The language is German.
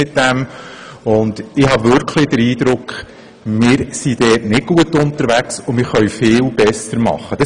Ich habe wirklich den Eindruck, dass wir nicht gut unterwegs sind und vieles besser machen könnten.